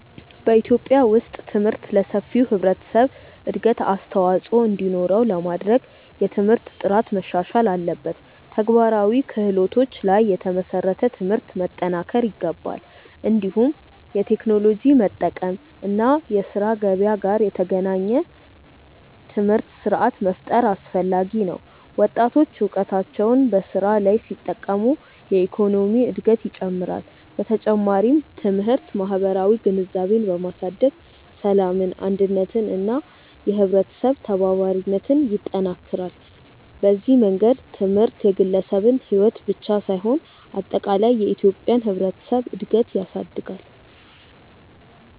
በኢትዮጵያ ውስጥ ትምህርት ለሰፊው ህብረተሰብ እድገት አስተዋፅኦ እንዲኖረው ለማድረግ የትምህርት ጥራት መሻሻል አለበት፣ ተግባራዊ ክህሎቶች ላይ የተመሰረተ ትምህርት መጠናከር ይገባል። እንዲሁም የቴክኖሎጂ መጠቀም እና የስራ ገበያ ጋር የተገናኘ ትምህርት ስርዓት መፍጠር አስፈላጊ ነው። ወጣቶች እውቀታቸውን በስራ ላይ ሲጠቀሙ የኢኮኖሚ እድገት ይጨምራል። በተጨማሪም ትምህርት ማህበራዊ ግንዛቤን በማሳደግ ሰላምን፣ አንድነትን እና የህብረተሰብ ተባባሪነትን ይጠናክራል። በዚህ መንገድ ትምህርት የግለሰብን ሕይወት ብቻ ሳይሆን አጠቃላይ የኢትዮጵያን ህብረተሰብ እድገት ያሳድጋል።